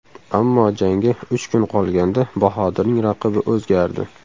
Ammo jangga uch kun qolganda Bahodirning raqibi o‘zgardi.